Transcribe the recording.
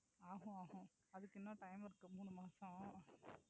ஆமா ஆமா. அதுக்கு இன்னும் time இருக்கு மூணு மாசம்.